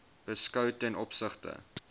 beskou ten opsigte